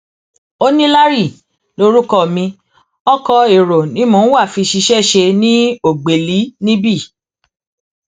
ó ní larry lorúkọ mi ọkọ èrò ni mò ń wá fi ṣiṣẹ ṣe ní ògbẹlì níbí